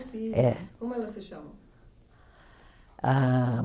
É. Como elas se chamam? Ah